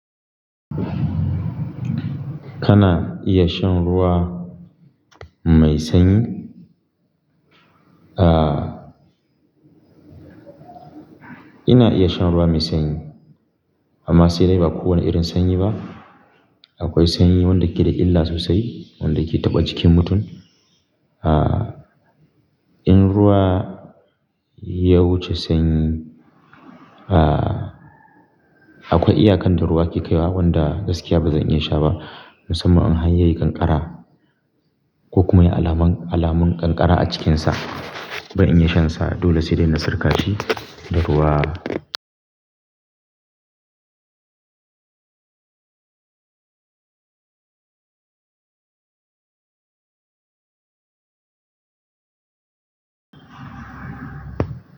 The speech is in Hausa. Kana iya shan ruwa mai sanyi? Aaa, ina iya shan ruwa mai sanyi amma sai dai ba kowane irin sanyi ba. Akwai sanyi wanda ke da illa sosai, wanda ke taɓa jikin mutum. Aaa, in ruwa ya wuce sanyi, aaa, akwai iyaka da ruwa ke kaiwa wanda gaskiya ba zan iya sha ba, musamman in har yayi ƙanƙara ko kuma yayi alamun, alamun ƙanƙara a cikinsa. Akwai sanyi wanda ke da illa sosai, wanda ke taɓa jikin mutum.